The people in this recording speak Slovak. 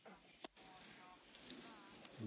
Ďakujem pani kolegyňa za otázku.